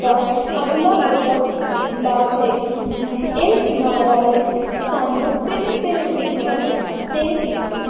ਦਾ ਅਗਲਾ ਵੱਡਾ ਲਾਭ ਹੈ ਕਿ ਇਸ ਨ ਅਹ ਰਾਹੀਂ ਸਾਨੂੰ ਭਿੰਨ-ਭਿੰਨ ਵਿਸ਼ਿਆਂ ਤੇ